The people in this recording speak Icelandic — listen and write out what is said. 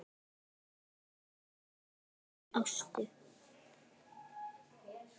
Blessuð sé minning Ástu.